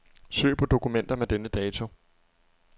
Søg på dokumenter med denne dato.